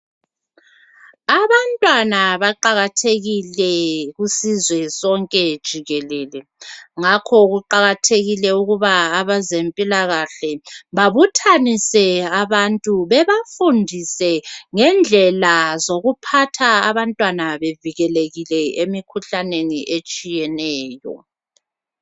Abantwana baqakathekile kusizwe sonke jikelele. Ngakho kuqakathekile ukuba abezempilakahle babuthanise abantu bebafundise ngendlela zokuphathwa abantwana bevikelekile emkhuhlaneni etshiyeneyo.